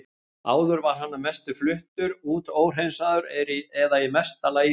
Áður var hann að mestu fluttur út óhreinsaður eða í mesta lagi þveginn.